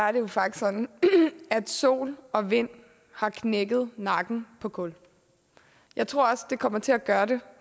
er det jo faktisk sådan at sol og vind har knækket nakken på kul jeg tror også de kommer til at gøre det